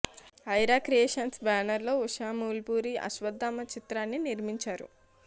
Aira creations banner లో ఉషా మూల్పూరి అశ్వథామ చిత్రాన్ని నిర్మించారు